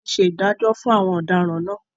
Wọn tí ṣe ìdájọ́ fún àwọn ọ̀daràn náà.